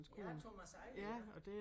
Ja Thomas Eje ja